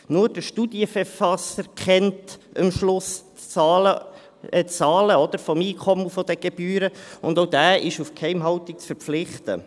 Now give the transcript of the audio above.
Nur der Studienverfasser kennt am Schluss die Zahlen von Einkommen und Gebühren, und auch dieser ist auf Geheimhaltung zu verpflichten.